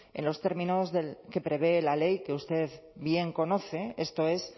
en los términos que prevé la ley que usted bien conoce esto es